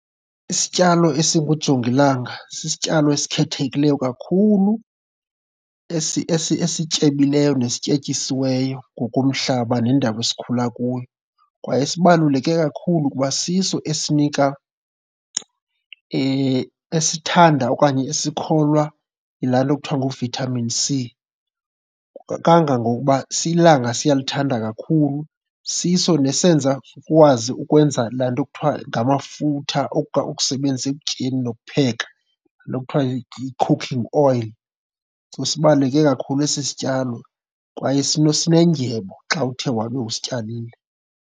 Isityalo esingujongilanga sisityalo esikhethekileyo kakhulu, esityebileyo nesityetyisiweyo ngokomhlaba nendawo esikhula kuyo. Kwaye sibaluleke kakhulu kuba siso esinika esithanda okanye esikholwa yilaa nto kuthiwa ngu-vitamin C, kangangokuba ilanga siyalithanda kakhulu. Siso nesenza kukwazi ukwenza laa nto kuthiwa ngamafutha ukusebenzisa ekutyeni nokupheka, laa nto kuthiwa yi-cooking oil. So sibaluleke kakhulu esi sityalo kwaye sinendyebo xa uthe wabe usityalile.